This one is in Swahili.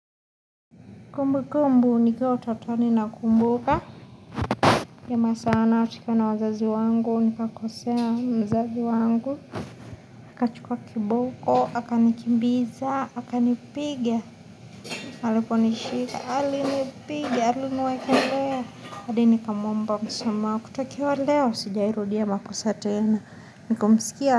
Kumbu kumbu ni kiwa utotoni na kumbuka Kema sana hatika na wazazi wangu ni kakosea mzazi wangu akachukua kiboko, akani kimbiza Hakani pigia aliponishika alini piga aliniwekelea hadi nikamwomba msamaha kutokawa leo Sijawahi rudia makosa tena Nikumisikia.